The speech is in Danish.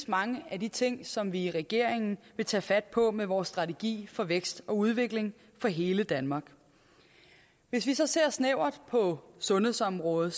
mange af de ting som vi i regeringen vil tage fat på med vores strategi for vækst og udvikling for hele danmark hvis vi så ser snævert på sundhedsområdet